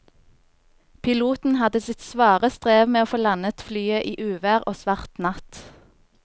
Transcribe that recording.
Piloten hadde sitt svare strev med å få landet flyet i uvær og svart natt.